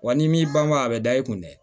Wa n'i m'i ban o ma a bɛ da i kun dɛ